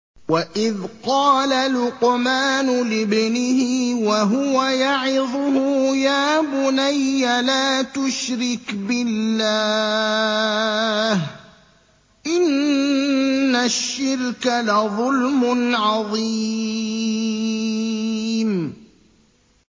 وَإِذْ قَالَ لُقْمَانُ لِابْنِهِ وَهُوَ يَعِظُهُ يَا بُنَيَّ لَا تُشْرِكْ بِاللَّهِ ۖ إِنَّ الشِّرْكَ لَظُلْمٌ عَظِيمٌ